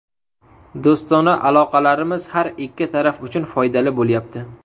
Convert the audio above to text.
Do‘stona aloqalarimiz har ikki taraf uchun foydali bo‘lyapti.